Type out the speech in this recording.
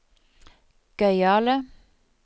gøyale